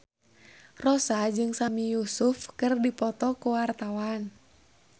Rossa jeung Sami Yusuf keur dipoto ku wartawan